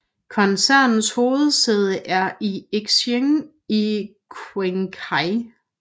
Koncernens hovedsæde er i Xining i Qinghai